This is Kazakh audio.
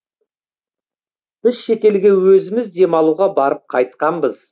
біз шетелге өзіміз демалуға барып қайтқанбыз